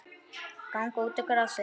Ganga út á grasið.